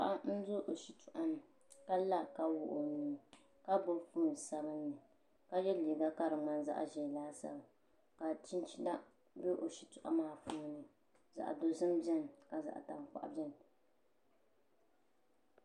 Paɣa n do o shitoɣu ni ka la ka wuɣi o nuu ka gbubi foon sabinli ka yɛ liiga ka di ŋmani zaɣ ʒiɛ laasabu ka chinchina bɛ o shitoɣu maa puuni zaɣ dozim biɛni ka zaɣ tankpaɣu biɛni